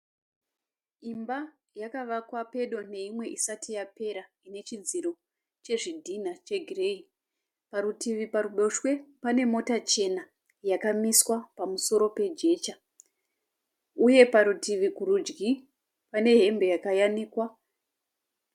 Imba yakavakwa pedo neimwe isati yapera, inechidziro chezvidhina chegireyi. Parutivi paruboshwe pane mota chena yakamiswa pamusoro pejecha. Uye parutivi kurudyi pane hembe yakayanikwa.